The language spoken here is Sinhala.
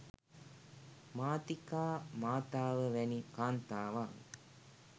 මාතිකා මාතාව වැනි කාන්තාවන්